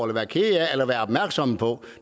være kede af eller være opmærksomme på